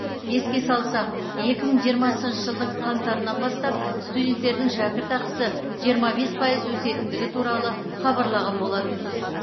еске салсақ екі мың жиырмасыншы жылдың қаңтарынан бастап студенттердің шәкірақысы жиырма бес пайыз өсетіндігі туралы хабарлаған болатынбыз